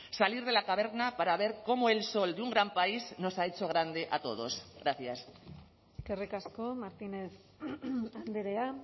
salir de la caverna para ver cómo el sol de un gran país nos ha hecho grande a todos gracias eskerrik asko martínez andrea